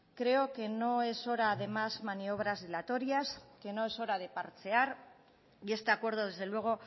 creo que no es hora de más maniobras dilatorias que no es hora de parchear y este acuerdo desde luego